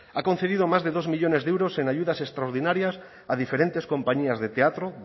ha concedido más de dos millónes de euros en ayudas extraordinarias a diferentes compañías de teatro